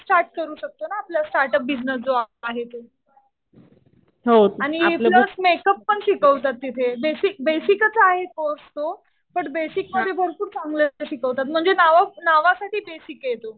Start करू शकतो ना. आपला स्टार्ट अप बिजनेस आहे तो. आणि प्लस मेक अप पण शिकवतात तिथे. बेसिकच आहे कोर्स तो. बट बेसिक मध्ये भरपूर चांगलं असं शिकवतात. म्हणजे नावासाठी बेसिक आहे तो.